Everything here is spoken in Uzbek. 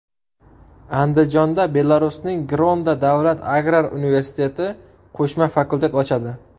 Andijonda Belarusning Grodno davlat agrar universiteti qo‘shma fakultet ochadi.